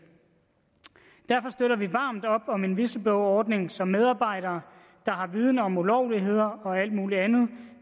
derfor støtter vi varmt op om en whistleblowerordning så medarbejdere der har viden om ulovligheder og alt muligt andet i